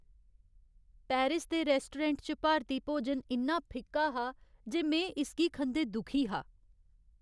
Paris दे restaurant च भारती भोजन इन्ना फिक्का हा जे में इसगी खंदे दुखी हा।